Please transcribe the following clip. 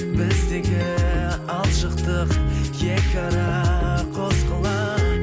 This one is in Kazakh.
біздегі алшақтық екі ара қос қала